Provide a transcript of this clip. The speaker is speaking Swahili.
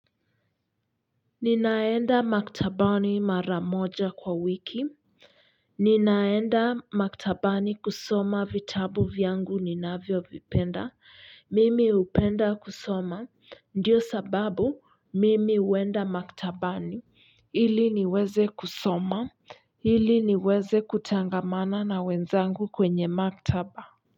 Ninaenda maktabani mara moja kwa wiki ninaenda maktabani kusoma vitabu vyangu ninavyovipenda. Mimi hupenda kusoma ndio sababu mimi huenda maktabani ili niweze kusoma ili niweze kutangamana na wenzangu kwenye maktaba.